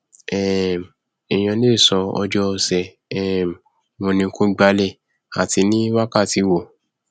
um èèyàn lè sọ ọjọ ọsẹ um wo ni kó gbálẹ ati ní wákàtí wo